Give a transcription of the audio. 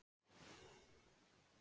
Hann var bara að nota mig.